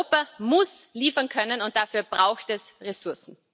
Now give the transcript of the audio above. Europa muss liefern können, und dafür braucht es Ressourcen.